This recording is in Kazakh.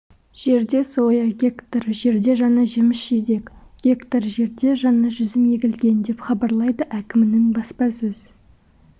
жерде соя гектар жерде жаңа жеміс-жидек гектар жерде жаңа жүзім егілген деп хабарлайды әкімінің баспасөз